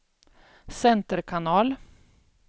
center kanal